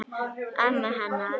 Ömmu hennar?